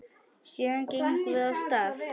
Síðan gengum við af stað.